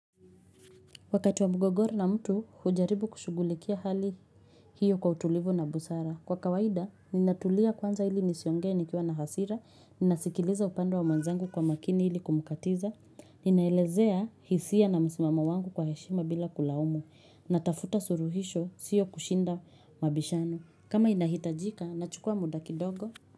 Wakati wa mgogoro na mtu, hujaribu kushugulikia hali hiyo kwa utulivu na busara. Kwa kawaida, ninatulia kwanza ili nisiongea nikiwa na hasira, ninasikiliza upande wa mwanzangu kwa makini ili kumkatiza, ninaelezea hisia na msimamo wangu kwa heshima bila kulaumu, ninatafuta suluhisho sio kushinda mabishano kama inahitajika, nachukua muda kidogo.